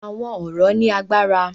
Àwọn ọ̀rọ̀ ní agbára.